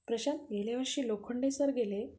प्रशांत गेल्यावर्षी लोखंडे सर गेले